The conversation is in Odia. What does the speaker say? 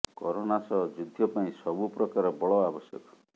କରୋନା ସହ ଯ଼ୁଦ୍ଧ ପାଇଁ ସବୁ ପ୍ରକାର ବଳ ଆବଶ୍ୟକ